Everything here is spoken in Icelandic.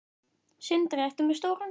Sindri: Ertu með stóran garð?